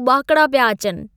उॿाकिड़ा पिया अचनि!